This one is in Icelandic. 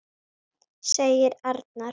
segir Arnar.